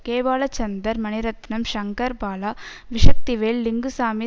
K Balachander Mani Ratnam Shankar Bala V Sakthivel Lingusamy